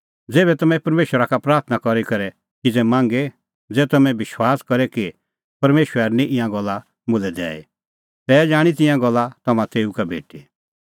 ज़ेभै तम्हैं परमेशरा का प्राथणां करी करै किज़ै मांगे ज़ै तम्हैं विश्वास करे कि परमेशरा हेरनी ईंयां गल्ला मुल्है दैई तै जाणीं तिंयां गल्ला तम्हां तेऊ का भेटी